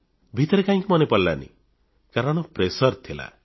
ଭିତରେ କାହିଁକି ମନେପଡ଼ିଲାନି କାରଣ ମାନସିକ ଚାପରେ ଥିଲେ